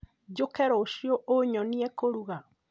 Njũke rũciũ ũnyonie kũrũga?